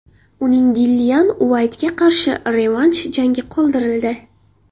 Uning Dillian Uaytga qarshi revansh jangi qoldirildi.